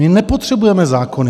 My nepotřebujeme zákony.